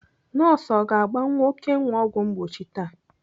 Nọọsụ ọ ga-agba nwa Okenna ọgwụ mgbochi taa?